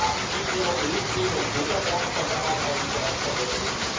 Haben Sie Ihre Milchseen und Butterberge von damals eigentlich bereits vergessen?